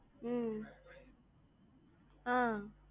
உம் ஆஹ்